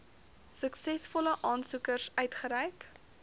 suksesvolle aansoekers uitgereik